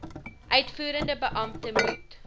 uitvoerende beampte moet